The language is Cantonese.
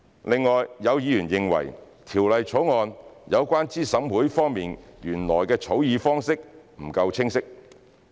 另外，有議員認為《條例草案》有關資審會方面原來的草擬方式不夠清晰。